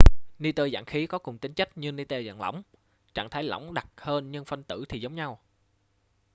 ni-tơ dạng khí có cùng tính chất như ni-tơ dạng lỏng trạng thái lỏng đặc hơn nhưng phân tử thì giống nhau